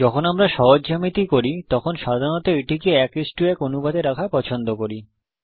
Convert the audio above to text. যখন আমরা সহজ জ্যামিতি করি তখন সাধারণত এটিকে 11 অনুপাতে রাখা পছন্দ করি